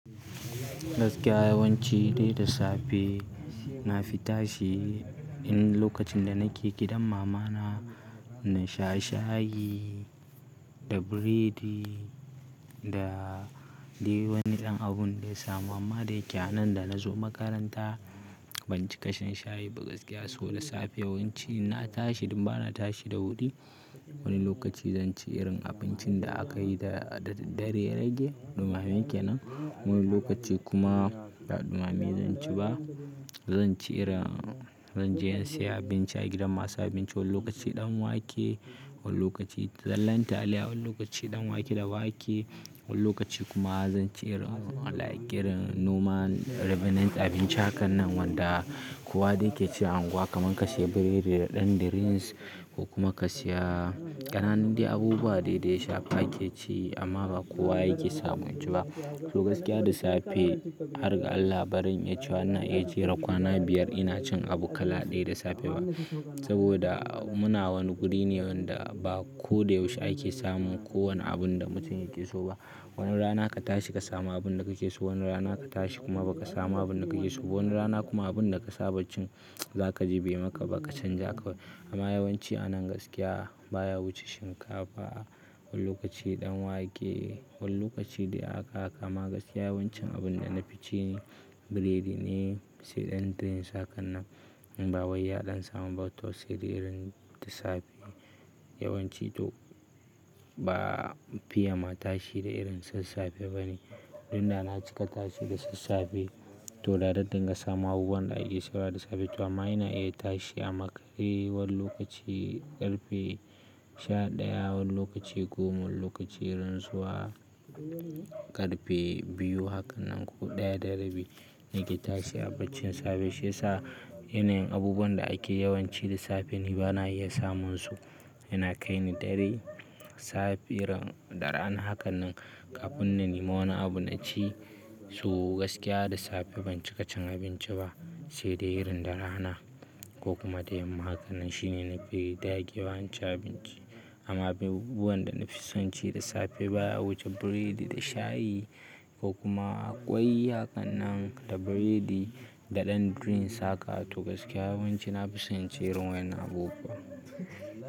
Gaskiya yawanci dai da safe na fita shi in lokacin da nake gidan mama na, na sha shayi da biredi da dai wani ɗan abun da ya samu amma dai yake nan. Da na zo makaranta ban ci ƙasan shayi ba gaskiya so da safe yawanci ina tashi idan ba na tashi da wuri. Wani lokaci zan ci irin abincin da aka yi da daddare yarage, ɗumame yake nan. Wani lokaci kuma ba ɗumame zan ci ba, zan ci irin-- zan je in saya abinci a gidan masu abinci. Wani lokaci ɗan wake, wani lokaci zallan taliya, wani lokaci ɗan wake da wake, wani lokaci kuma zan ci irin like irin noma revenant abinci hakan nan wanda kowa dai yake ci anguwa kaman ka siya biredi da ɗan drinks ko kuma ka siya ƙananan dai abubuwa dai dai shafi ake ci amma ba kowa yake samun ci ba. To gaskiya da safe har ga Allah baran in yi cewa ina iya cire kwana biyar ina cin abu kala ɗaya da safe ba. Saboda muna wani guri ne wanda ba ko da yaushe ake samun kowane abun da mutum yake so ba. Wani rana ka tashi ka samu abun da kake so, wani rana ka tashi kuma ba ka samu abun da kake so ba. Wani rana kuma abun da ka saba cin zaka ji bai maka ba ka canja ka. Amma yawanci a nan gaskiya baya wuce shinkafa, wani lokaci ɗan wake, wani lokaci dai aka aka. Amma gaskiya yawancin abun da na fi ci ne biredi ne sai ɗan drinks hakan nan. Bawai yaɗan samu ba to sai da irin da safe. Yawanci to ba fiye ma tashi da irin sassafe bane. Idan da na cika tashi da sassafe, to da zan dinga samun abubuwa da ake sedawa da safe. To amma ina iya tashi a makare wani lokaci ƙarfe sha ɗaya, wani lokaci goma, wani lokaci irin zuwa ƙarfe biyu hakan nan ko ɗaya da rabi nake tashi a bacin safe. To gaskiya da safe har ga Allah baran in yi cewa ina iya cire kwana biyar ina cin abu kala ɗaya da safe ba. Safe irin ɗarana hakan nan kafin na nemo wani abun na ci. Su gaskiya da safe ban cika cin abinci ba sai da irin dara hana ko kuma ɗayan makaran shi ne na fi dage yawanci abinci. Amma abubuwan da na fi son ci da safe baya wuce biredi da shayi ko kuma ƙwai hakan nan da biredi da ɗan drinks haka. To gaskiya yawanci na fi son ci irin wani abu ba.